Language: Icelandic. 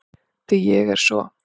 Því ég er svo